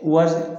Wa